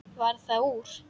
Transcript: Varð það úr.